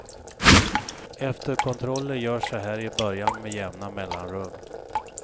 Efterkontroller görs så här i början med jämna mellanrum.